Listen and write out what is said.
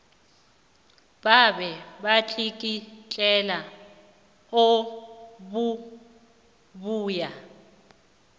babe batlikitlelwa obubuya